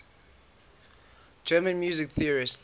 german music theorists